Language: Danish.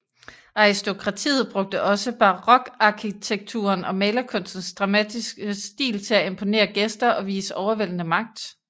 Aristokratiet brugte også barokarkitekturen og malerkunstens dramatiske stil til at imponere gæster og vise overvældende magt